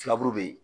Filaburu be yen